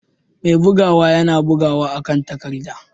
Mai bugawa yana bugawa akan takarda.